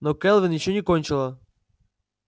но кэлвин ещё не кончила